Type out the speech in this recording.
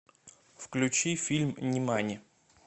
включи фильм нимани